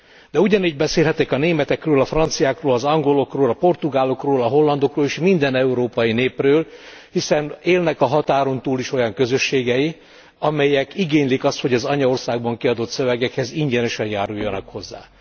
De ugyanígy beszélhetek a németekről, a franciákról, az angolokról, a portugálokról, a hollandokról és minden európai népről, hiszen élnek a határon túl is olyan közösségei, amelyek igénylik azt, hogy az anyaországban kiadott szövegekhez ingyenesen járuljanak hozzá.